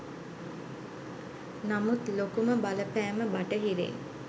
නමුත් ලොකුම බලපෑම බටහිරින්